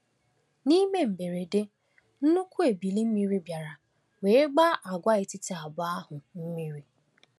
N’ime mberede, nnukwu ebili mmiri bịara were gbaa agwaetiti abụọ ahụ mmiri.